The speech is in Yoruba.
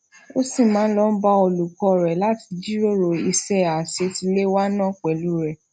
ó ṣì máa ń lọ bá olùkó rè láti jíròrò iṣé àṣetiléwá náà pèlú rè